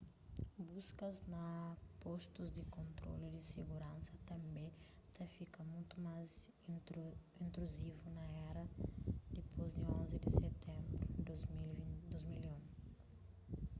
buskas na postus di kontrolu di siguransa tanbê ta fika mutu más intruzivu na éra dipôs di 11 di sitenbru di 2001